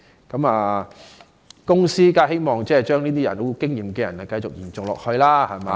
公司當然希望這些有經驗的人繼續工作下去......